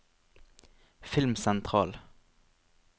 filmsentral